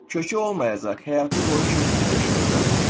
Kökü olmayacaq, həyatı boyu köksüz yaşayacaq.